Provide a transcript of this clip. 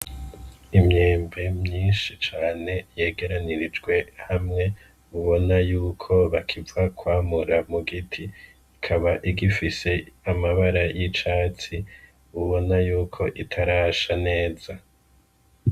Imyembe myishi cane yegeranirijwe hamwe ubona yuko bakiva kwamura mu giti ikaba igifise amabara y'icatsi ubona yuko itarasha neza.